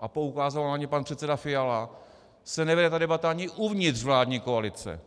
a poukázal na ně pan předseda Fiala, se nevede ta debata ani uvnitř vládní koalice.